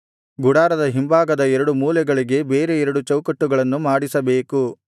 ಗುಡಾರದ ಹಿಂಭಾಗದ ಎರಡು ಮೂಲೆಗಳಿಗೆ ಬೇರೆ ಎರಡು ಚೌಕಟ್ಟುಗಳನ್ನು ಮಾಡಿಸಬೇಕು